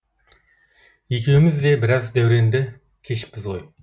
екеуіміз де біраз дәуреңді кешіппіз ғой